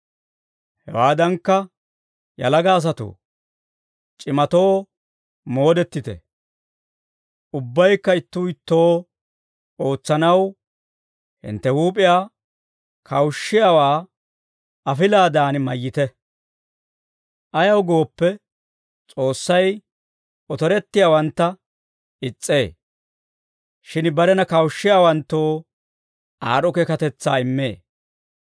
Hewaadankka yalaga asatoo, c'imatoo moodettite. Ubbaykka ittuu ittoo ootsanaw hintte huup'iyaa kawushshiyaawaa afilaadan mayyite. Ayaw gooppe, S'oossay otorettiyaawantta is's'ee; shin barena kawushshiyaawanttoo aad'd'o keekatetsaa immee.